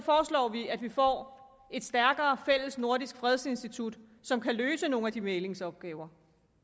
vi at vi får et stærkere fællesnordisk fredsinstitut som kan løse nogle af de mæglingsopgaver